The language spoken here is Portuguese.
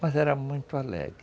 Mas era muito alegre.